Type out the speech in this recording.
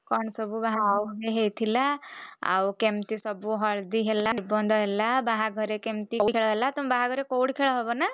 କଣ ସବୁ ବାହାଘର ହେଇଥିଲା ଆଉ କେମିତି ସବୁ ହଳଦୀ ହେଲା ନିର୍ବନ୍ଧ ହେଲା ବାହାଘରେ କେମିତି କଉଡି ଖେଳ ହେଲା ତମର ବାହାଘରରେ କଉଡି ଖେଳ ହେବନା?